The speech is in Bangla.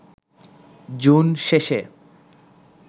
জুন শেষে